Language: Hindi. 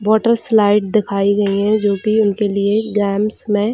वाटर स्लाइड दिखाई दे रही जो कि उनके लिए गेम्स में --